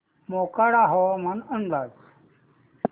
मोखाडा हवामान अंदाज